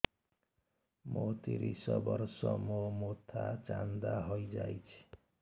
ମୋ ତିରିଶ ବର୍ଷ ମୋ ମୋଥା ଚାନ୍ଦା ହଇଯାଇଛି